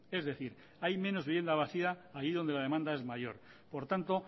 es decir hay menos vivienda vacía allí donde la demanda es mayor por tanto